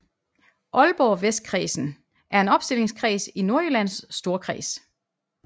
Aalborg Vestkredsen er en opstillingskreds i Nordjyllands Storkreds